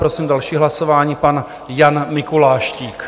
Prosím další hlasování - pan Jan Mikuláštík.